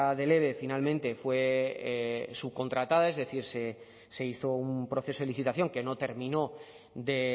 del eve finalmente fue subcontratada es decir se hizo un proceso de licitación que no terminó de